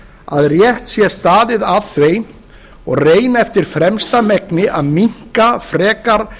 að rétt sé staðið að þeim og reyna eftir fremsta megni að minnka frekar